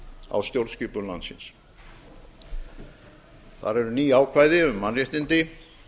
á stjórnskipun landsins þar eru ný ákvæði um mannréttindi